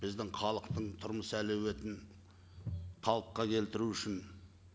біздің халықтың тұрмыс әлеуетін қалыпқа келтіру үшін